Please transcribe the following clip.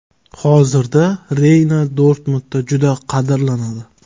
Hozirda Reyna Dortmundda juda qadrlanadi.